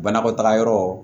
Banakɔtaga yɔrɔ